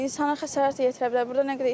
İnsanlara xəsarət yetirə bilər.